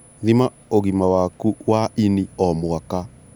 Thima ũgima waku wa ini o mwaka